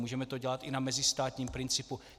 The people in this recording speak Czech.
Můžeme to dělat i na mezistátním principu.